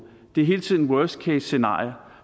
det er hele tiden worse case scenarier